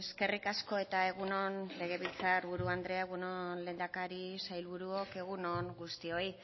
eskerrik asko eta egun on legebiltzar buru andrea egun on lehendakari sailburuok egun on guztioi